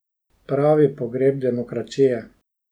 Pravi pogreb demokracije.